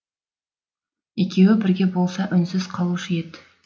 екеуі бірге болса үнсіз қалушы ед